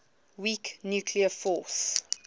weak nuclear force